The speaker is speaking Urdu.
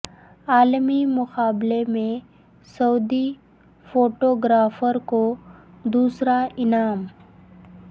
عالمی مقابلے میں سعودی فوٹو گرافر کو دوسرا انعام